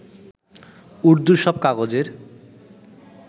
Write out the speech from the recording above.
উর্দু সব কাগজের